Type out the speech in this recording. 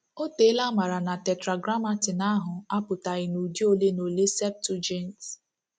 O teela a maara na Tetragrammaton ahụ apụtaghị na udi ole na ole Septuagint.